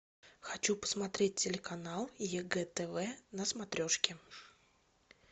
хочу посмотреть телеканал егэ тв на смотрешке